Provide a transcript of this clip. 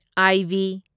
IV